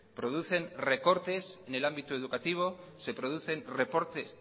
producen recortes en el ámbito educativo se producen